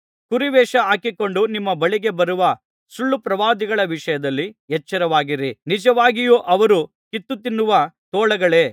ಕುರಿವೇಷ ಹಾಕಿಕೊಂಡು ನಿಮ್ಮ ಬಳಿಗೆ ಬರುವ ಸುಳ್ಳುಪ್ರವಾದಿಗಳ ವಿಷಯದಲ್ಲಿ ಎಚ್ಚರವಾಗಿರಿ ನಿಜವಾಗಿಯೂ ಅವರು ಕಿತ್ತುತಿನ್ನುವ ತೋಳಗಳೇ